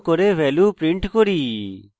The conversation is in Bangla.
value print করি